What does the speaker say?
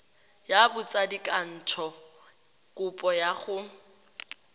ya botsadikatsho kopo ya go